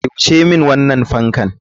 Kai wuce min wannan fan.